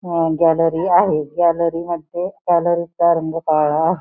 ह गॅलरी आहे गॅलेरी मधे गॅलरी चा रंग काळा आहे.